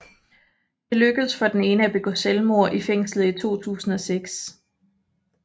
Det lykkedes for den ene at begå selvmord i fængslet i 2006